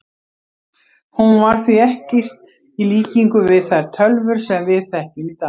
Hún var því ekkert í líkingu við þær tölvur sem við þekkjum í dag.